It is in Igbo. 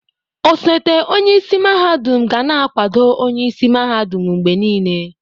Ọsote onyeisi mahadum ga na-akwado onye isi mahadum mgbe niile.